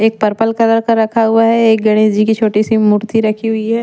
एक purple colour का रखा हुआ है एक गणेश जी की छोटी सी मूर्ति रखी हुई है ।